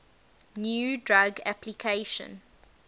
new drug application